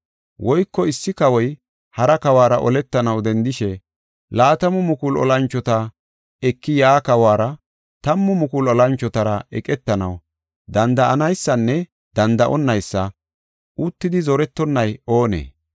“Woyko issi kawoy hara kawora oletanaw dendishe laatamu mukulu olanchota eki yaa kawuwara tammu mukulu olanchotara eqetanaw danda7anaysanne danda7onaysa uttidi zorettonay oonee?